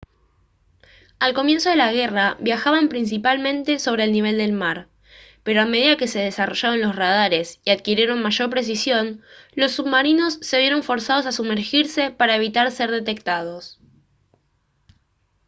al comienzo de la guerra viajaban principalmente sobre el nivel del mar pero a medida que se desarrollaron los radares y adquirieron mayor precisión los submarinos se vieron forzados a sumergirse para evitar ser detectados